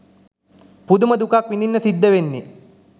පුදුම දුකක් විඳින්න සිද්ද වෙන්නේ